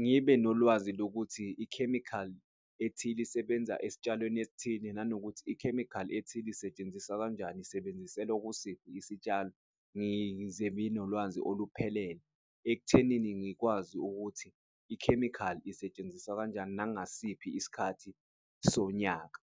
Ngibe nolwazi lokuthi ikhemikhali ethile isebenza esitshalweni esithile, nanokuthi ikhemikhali ethile isetshenziswa kanjani, isebenziselwe kusiphi isitshalo. Ngize ngibe nolwazi oluphelele ekuthenini ngikwazi ukuthi ikhemikhali isetshenziswa kanjani nangasiphi isikhathi sonyaka.